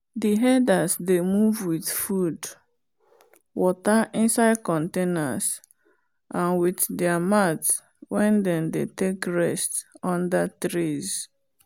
the herders dey move with food water inside containers and with their mat wen them dey take rest under trees